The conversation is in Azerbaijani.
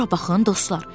Bura baxın, dostlar!